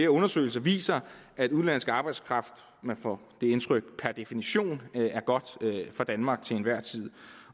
undersøgelser viser at udenlandsk arbejdskraft man får det indtryk per definition er godt for danmark til enhver tid